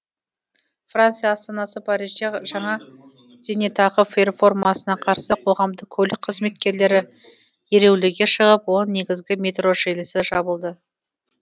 франция астанасы парижде жаңа зейнетақы реформасына қарсы қоғамдық көлік қызметкерлері ереуілге шығып он негізгі метро желісі жабылды